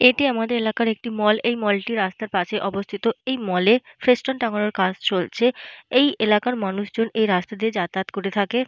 এটি আমাদের এলাকার একটি মল । এই মল টি রাস্তার পাশে অবস্থিত। এই মল -এ ফেস্টুন টাঙ্গানোর কাজ চলছে। এই এলাকার মানুষজন এই রাস্তা দিয়ে যাতায়াত করে থাকে।